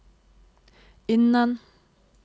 innen